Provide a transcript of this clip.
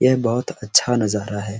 यह बहुत अच्छा नजारा है ।